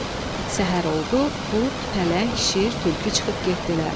Səhər oldu, qurd, pələng, şir, tülkü çıxıb getdilər.